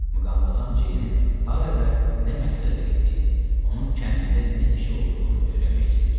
Muqamvazam Jeynin hara və nə məqsədlə getdiyini, onun kəndində nə işi olduğunu öyrənmək istəyirdi.